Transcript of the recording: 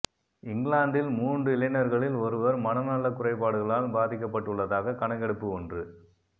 இங்கிலாந்தில் மூன்று இளைஞர்களில் ஒருவர் மனநலக் குறைபாடுகளால் பாதிக்கப்பட்டுள்ளதாக கணக்கெடுப்பு ஒன்று